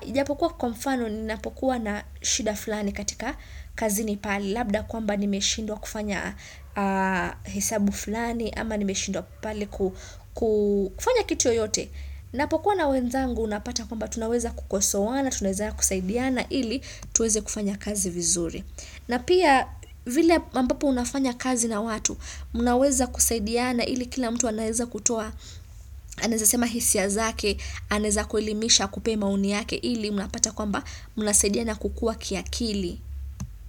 Ijapokuwa kwa mfano ninapokuwa na shida fulani katika kazini pale labda kwamba nimeshindwa kufanya hesabu fulani ama nimeshindwa pale ku ku kufanya kitu yoyote napokuwa na wenzangu unapata kwamba tunaweza kukosoana, tunaweza kusaidiana ili tuweze kufanya kazi vizuri na pia vile ambapo unafanya kazi na watu mnaweza kusaidiana ili kila mtu anaeza kutoa, anaeza sema hisia zake, anaeza kuelimisha akupee maoni yake ili, mnapata kwamba nnasaidiana kukua kiakili.